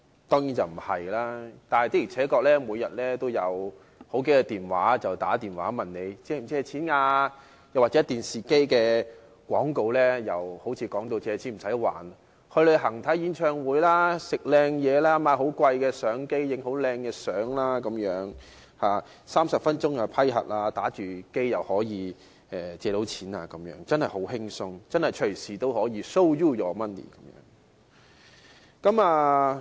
但是，的而且確，每天都有數個來電問你是否需要借錢，而電視廣告亦把借錢形容為好像不需要還錢，借錢後可以去旅行、看演唱會、吃美食、購買昂貴的相機等 ，30 分鐘便完成批核，可以一邊玩遊戲機一邊借錢，真的很輕鬆，隨時都可以 "Show you the money"。